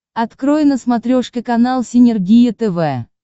открой на смотрешке канал синергия тв